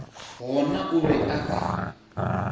gona o be a ka